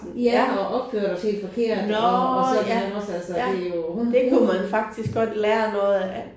Ja og opførte os helt forkert og og sådan ja også altså det er jo hun hun